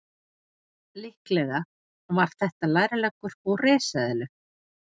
Líklega var þetta lærleggur úr risaeðlu.